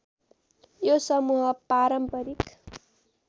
यो समूह पारम्परिक